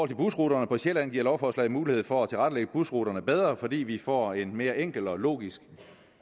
til busruterne på sjælland giver lovforslaget mulighed for at tilrettelægge busruterne bedre fordi vi får en mere enkel og logisk